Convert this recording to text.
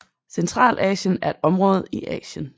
Centralasien er et område i Asien